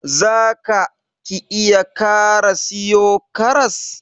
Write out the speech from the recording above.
Za ka / ki iya kara siyo karas?